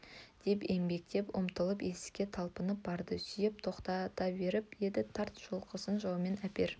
деп еңбектеп ұмтылып есікке талпынып барады сүйеп тоқтата беріп еді тарт жұлқысып жауыммен әпер